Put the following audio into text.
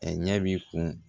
A ɲɛ b'i kun